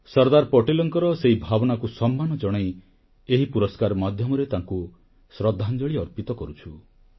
ସର୍ଦ୍ଦାର ପଟେଲଙ୍କର ସେହି ଭାବନାକୁ ସମ୍ମାନ ଜଣାଇ ଏହି ପୁରସ୍କାର ମାଧ୍ୟମରେ ତାଙ୍କୁ ଶ୍ରଦ୍ଧାଞ୍ଜଳି ଅର୍ପିତ କରୁଛୁ